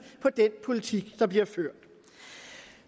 på den politik der bliver ført